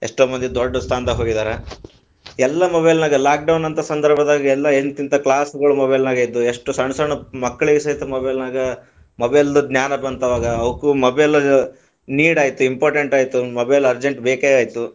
ಎಷ್ಟೋ ಮಂದಿ ದೊಡ್ಡ ಸ್ಥಾನದಾಗ ಹೋಗಿದಾರ, ಎಲ್ಲ mobile ನಾಗ lock down ಅಂತ ಸಂದರ್ಭದಾಗ ಎಲ್ಲಾ ಎಂತೆಂತಾ class ಗಳು mobile ನಾಗ ಇದ್ದವು, ಎಷ್ಟ ಸಣ್ಣ ಸಣ್ಣ ಮಕ್ಕಳಿಗ ಸಹಿತ mobile ನಾಗ mobile ದ ಜ್ಞಾನ ಬಂತ ಅವಾಗ ಅವಕ್ಕು mobile need ಆಯ್ತ್, important ಆಯಿತು mobile urgent ಬೇಕೇ ಆಯ್ತು.